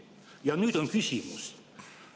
Ja nüüd on küsimus.